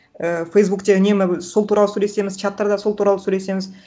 ііі фейсбукте үнемі сол туралы сөйлесеміз чаттарда сол туралы сөйлесеміз